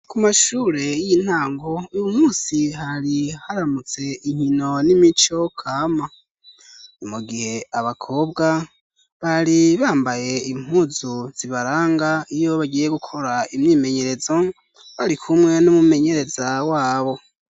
Ku mashure y'intango, uyumusi hari haramutse inkino n'imico kama. Ni mu gihe abakobwa bari bambaye impuzu zibaranga iyo bagiye gukora imyimenyerezo. bari kumwe n'umumenyereza wabo.